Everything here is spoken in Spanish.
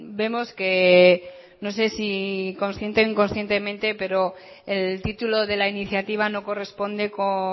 vemos que no sé si consciente o inconscientemente pero el título de la iniciativa no corresponde con